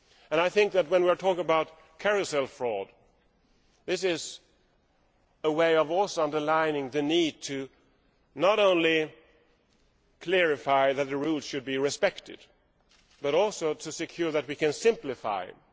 I think that when we talk about carousel fraud this is also a way of underlining the need not only to clarify that the rules should be respected, but also to ensure that we can simplify them.